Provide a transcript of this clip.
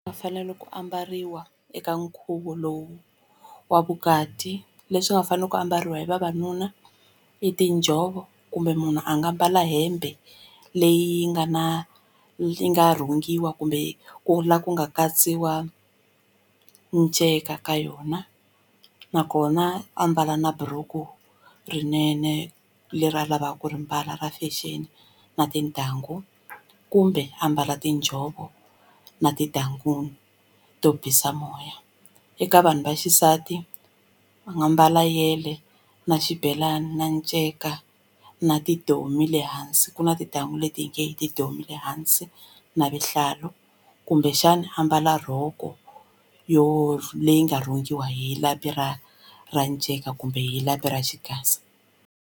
Va fanele ku ambariwa eka nkhuvo lowu wa vukati leswi nga fanele ku ambariwa hi vavanuna i tinjhovo kumbe munhu a nga mbala hembe leyi nga na yi nga rhungiwa kumbe ku la ku nga katsiwa miceka ka yona nakona ambala na buruku rinene leri a lavaka ku ri mbala ra fashion na tintangu kumbe ambala tinjhovo na tintangu to bisa moya eka vanhu vaxisati a nga mbala yele na xibelani na nceka na tidomi le hansi ku na tintangu leti hi nge yi tidomi le hansi na vuhlalu kumbexani ambala rhoko yo leyi nga rhungiwa hi lapi ra ra nceka kumbe hi lapi ra xigaza.